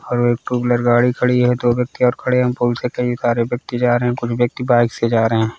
और एक two wheeler गाड़ी खड़ी है दो व्यक्ति और खड़े है पूल से कई सारे व्यक्ति जा रहे है कुछ व्यक्ति बाइक से जा रहे है।